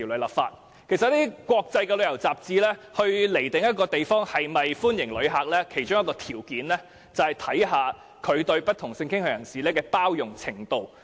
其實一些國際旅遊雜誌判定一個地方是否歡迎旅客，其中一個條件是該地方對不同性傾向人士的包容度。